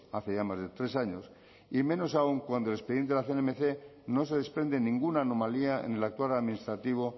hace ya más de tres años y menos aún cuando el expediente de la cnmc no se desprende ninguna anomalía en el actuar administrativo